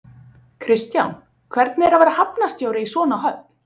Kristján, hvernig er að vera hafnarstjóri í svona höfn?